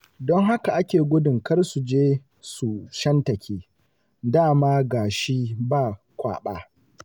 Don haka ake gudun kar su je su shantake, da ma ga shi ba kwaɓa.